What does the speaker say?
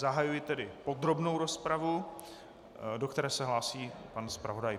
Zahajuji tedy podrobnou rozpravu, do které se hlásí pan zpravodaj.